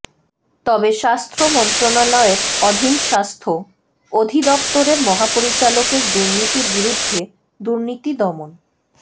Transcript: তবে স্বাস্থ্য মন্ত্রণালয়ের অধীন স্বাস্থ্য অধিদপ্তরের মহাপরিচালকের দুর্নীতির বিরুদ্ধে দুর্নীতি দমন